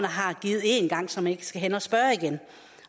har givet en gang så man ikke skal hen og spørge igen